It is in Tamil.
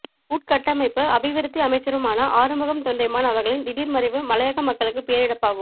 உட்கட்டமைப்பு அபிவிருத்தி அமைச்சருமான ஆறுமுகம் தொண்டமான் அவர்களின் திடீர் மறைவு மலையக மக்களுக்கு பேரிழப்பாகும்